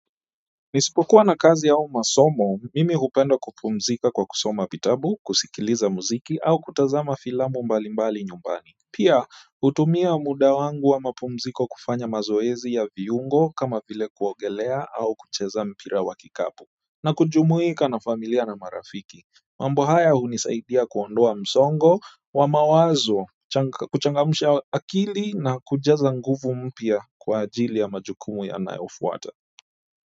Nisipokuwa na kazi au masomo mimi hupenda kupumzika kwa kusoma vitabu, kusikiliza mziki au kutazama filamu mbalimbali nyumbani. Pia, hutumia muda wangu wa mapumziko kufanya mazoezi ya viungo kama vile kuogelea au kucheza mpira wa kikapu. Na kujumuika na familia na marafiki mambo haya hunisaidia kuondoa msongo wa mawazo kuchangamsha akili na kujaza nguvu mpya kwa ajili ya majukumu yanayofuata.